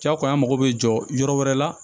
Jakoya mago bɛ jɔ yɔrɔ wɛrɛ la